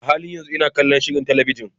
A halin yanzu ina kallon shirin talabijin.